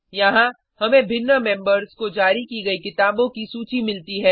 यहाँ हमें भिन्न मेंबर्स को जारी की गयी किताबों की सूची मिलती है